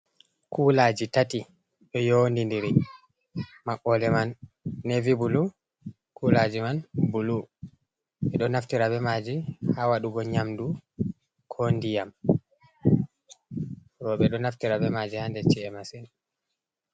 Kulaaji tati ɗo yondindiri, maɓɓode man neevi bulu, kulaaji man bulu. Ɓe ɗo naftira be maaji, haa waɗugo nyamdu ko ndiyam. Rowɓe ɗo naftira be maaji haa nder ci’e masin.